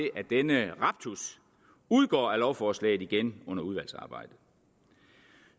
denne raptus udgår af lovforslaget igen under udvalgsarbejdet